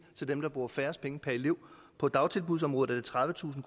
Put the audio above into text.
og dem der bruger færrest penge per elev på dagtilbudsområdet er det tredivetusind